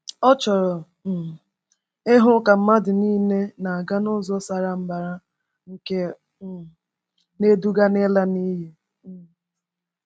Ọ chọrọ um ịhụ ka mmadụ nile na-aga ụzọ sara mbara nke um na-eduga n’ịla n’iyi. um